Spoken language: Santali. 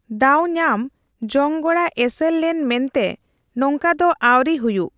ᱫᱟᱣ ᱧᱟᱢ ᱡᱚᱝᱜᱽᱲᱟ ᱮᱥᱮᱨ ᱞᱮᱱ ᱢᱮᱱᱛᱮ ᱱᱚᱝᱠᱟ ᱫᱚ ᱟᱣᱨᱤ ᱦᱩᱭᱩᱜᱼ᱾